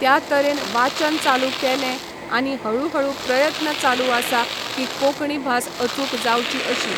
त्या तरेन वाचन चालू केलें आनी हळू हळू प्रयत्न चालू आसा की कोंकणी भास अचूक जावची अशी.